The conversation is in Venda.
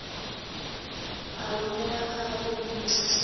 a rumela kha vho minisita